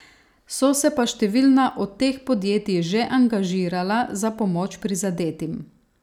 So se pa številna od teh podjetij že angažirala za pomoč prizadetim.